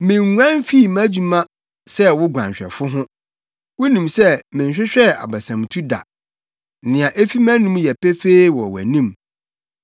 Minnguan mfii mʼadwuma sɛ wo guanhwɛfo ho; wunim sɛ menhwehwɛɛ abasamtu da. Nea efi mʼanom yɛ pefee wɔ wʼanim.